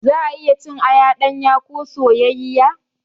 Za'a iya cin aya ɗanya ko soyayyiya.